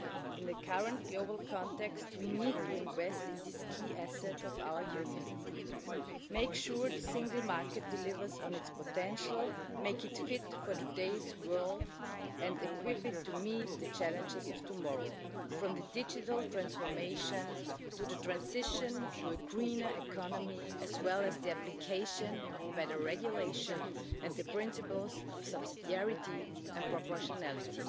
table. In the current global context, we need to invest in this key asset of our Union, make sure the single market delivers on its potential, make it fit for today's world and equip it to meet the challenges of tomorrow from digital transformation to the transition to a greener economy, as well as the application of better regulation and the principles of subsidiarity and proportionality.